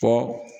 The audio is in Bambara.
Fɔ